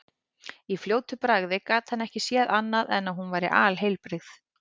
Í fljótu bragði gat hann ekki séð annað en hún væri alheilbrigð.